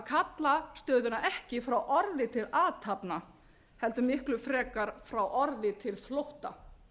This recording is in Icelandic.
kalla stöðuna ekki frá orði til athafna heldur miklu frekar frá orði til flótta